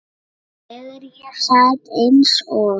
Þegar ég sat eins og